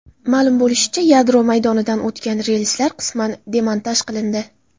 Ma’lum bo‘lishicha, yadro maydonidan o‘tgan relslar qisman demontaj qilindi.